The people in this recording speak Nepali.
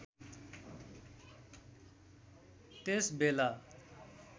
त्यस बेला